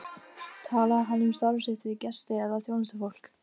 Talaði hann um starf sitt við gesti eða þjónustufólk?